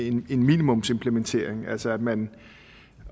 en minimumsimplementering altså at man